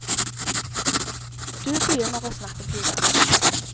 Du begynner å snakke til den.